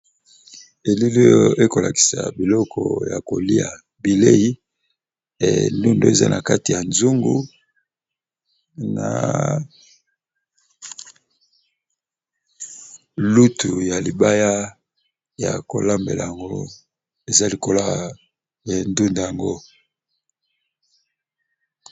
elili oyo ekolakisa biloko ya kolia bilei endundo eza na kati ya zoungu na lutu ya libaya ya kolambela yango eza likolo ya endunda yango